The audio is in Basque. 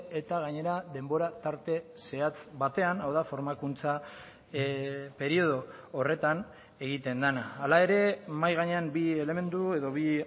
eta gainera denbora tarte zehatz batean hau da formakuntza periodo horretan egiten dena hala ere mahai gainean bi elementu edo bi